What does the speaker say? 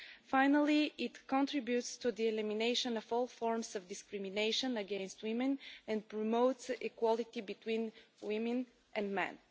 Finally, it contributes to the elimination of all forms of discrimination against women and promotes equality between women and men.